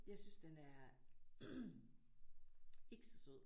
Jeg synes den er ikke så sød